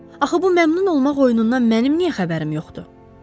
Axı bu məmnun olmaq oyunundan mənim niyə xəbərim yoxdur?